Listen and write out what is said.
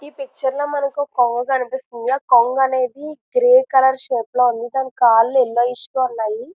ఈ పిక్చర్ లో మనకి ఒక కొంగ కనిపిస్తుంది ఆ కొంగ అనేది గ్రీన్ కలర్ షేపులో ఉంది కాలు ఎల్లోఇష్ గా ఉన్నాయి.